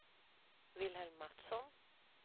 Wilhelm Mattsson